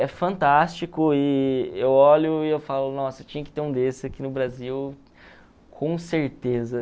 É fantástico e eu olho e eu falo, nossa, tinha que ter um desse aqui no Brasil, com certeza.